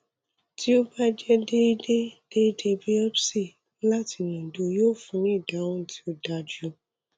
ti o ba jẹ deede deede biopsy lati nodu yoo funni ni idahun ti o daju